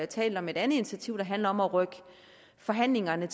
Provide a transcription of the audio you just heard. talt om et andet initiativ der handler om at rykke forhandlingerne